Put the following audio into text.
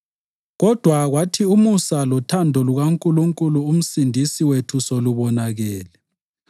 Kodwa kwathi umusa lothando lukaNkulunkulu uMsindisi wethu sekubonakele,